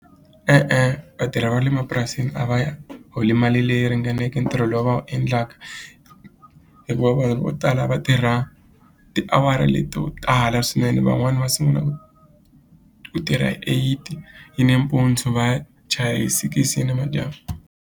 E-e vatirhi va le mapurasini a va holi mali leyi ringaneke ntirho lowu va wu endlaka hikuva vanhu vo tala a va tirha tiawara leti to tala swinene van'wani va sungula ku tirha hi eight yi nimpundzu vatshaya hi six ya namadyambu.